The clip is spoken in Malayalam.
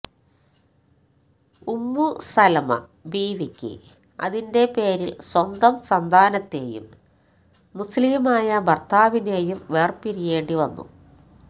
ഉമ്മു സലമ ബീവിക്ക് അതിന്റെ പേരില് സ്വന്തം സന്താനത്തേയും മുസ്ലിമായ ഭര്ത്താവിനേയും വേര്പിരിയേണ്ടി വന്നു